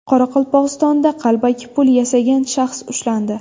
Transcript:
Qoraqalpog‘istonda qalbaki pul yasagan shaxs ushlandi.